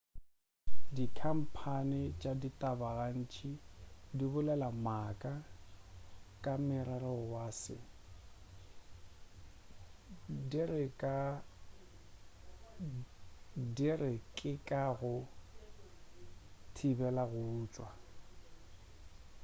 dikhamphane tša ditaba gantši di bolela maaka ka morero wa se di re ke ka ga go thibela go utswa